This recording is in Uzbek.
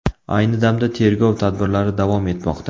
Ayni damda tergov tadbirlari davom etmoqda.